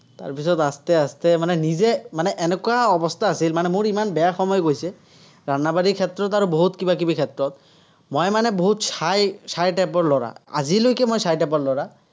তাৰ পিছত आस्ते-आस्ते মানে নিজে মানে এনেকুৱা অৱস্থা আছিল, মানে মোৰ, ইমান বেয়া সময় গৈছে, ক্ষেত্ৰত আৰু বহুত কিবা-কিবি ক্ষেত্ৰত। মই মানে বহুত shy shy type ৰ ল'ৰা। আজিলৈকে মই shy type ল'ৰা।